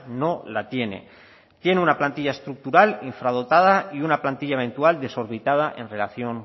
no la tiene tiene una plantilla estructural infradotada y una plantilla eventual desorbitada en relación